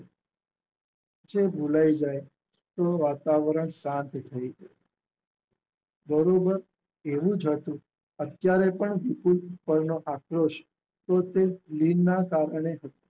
ભુલાય જાય તો વાતવરણ શાંત થઈ જાય બરોબર એવું જ હતું અત્યારે પણ વિપુલ પરનો આકરો છે. તો તે લિનના સાધને